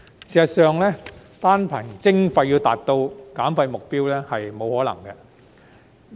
事實上，單憑徵費要達到減廢目標是不可能的。